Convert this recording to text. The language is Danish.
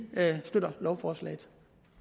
støtter lovforslaget